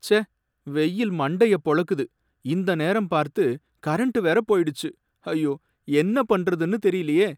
ச்சே! வெயில் மண்டைய பொளக்குது, இந்த நேரம் பார்த்து கரண்ட் வேற போயிடுச்சு, ஐயோ! என்ன பண்றதுனு தெரியலயே